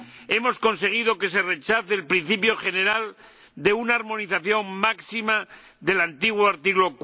Hemos conseguido que se rechace el principio general de una armonización máxima del antiguo artículo